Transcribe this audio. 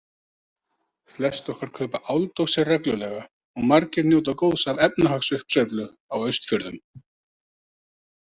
Flest okkar kaupa áldósir reglulega og margir njóta góðs af efnahagsuppsveiflu á Austfjörðum.